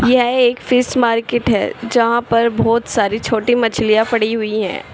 यह एक fish market है जहां पर बहोत सारी छोटी मछलियां पड़ी हुई हैं।